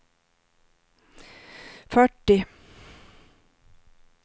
fyrtio